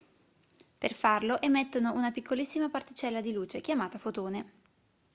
per farlo emettono una piccolissima particella di luce chiamata fotone